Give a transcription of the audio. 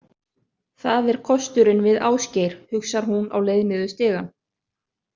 Það er kosturinn við Ásgeir, hugsar hún á leið niður stigann.